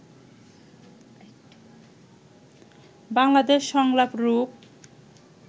বাংলাদেশ সংলাপ রূপ